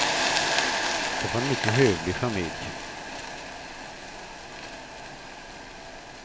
Det var en mycket hövlig familj.